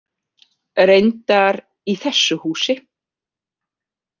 Reyndar í þessu húsi.